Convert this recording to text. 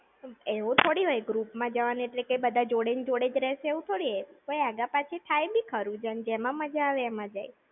એવું થોડી હોય? group માં જવાનું એટલે કઈ બધા જોડે ને જોડે જ રહેશે એવું થોડી હોય! કોઈ આઘા પાછા થાય બી ખરું, જેન જેમાં મજા આવે એમાં જાય!